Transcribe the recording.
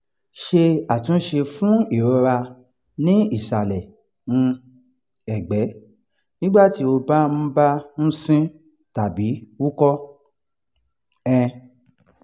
ṣé àtúnṣe fún ìrora ní ìsàlẹ̀ um ẹ̀gbẹ́ nígbà tí o bá ń bá ń ṣin tàbí wúkọ́? um